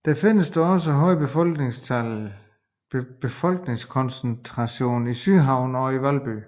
Der findes dog også høje befolkningskoncentration i Sydhavnen og i Valby